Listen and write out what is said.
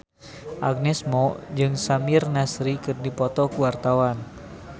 Agnes Mo jeung Samir Nasri keur dipoto ku wartawan